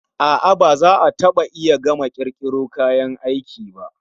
A'a, ba za a taba iya gama kirkiro kayan aiki ba.